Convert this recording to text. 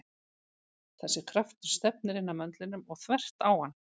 Þessi kraftur stefnir inn að möndlinum og þvert á hann.